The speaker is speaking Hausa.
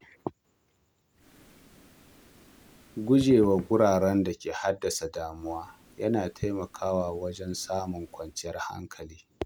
Gujewa wuraren da ke haddasa damuwa yana taimakawa wajen samun kwanciyar hankali.